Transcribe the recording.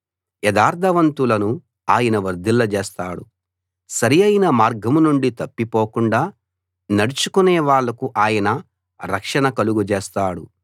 యథార్థవంతులను ఆయన వర్ధిల్లజేస్తాడు సరియైన మార్గం నుండి తప్పిపోకుండా నడుచుకునే వాళ్ళకు ఆయన రక్షణ కలుగజేస్తాడు